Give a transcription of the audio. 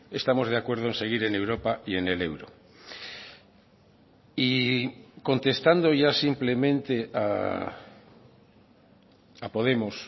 estamos de acuerdo en seguir en europa y en el euro y contestando ya simplemente a podemos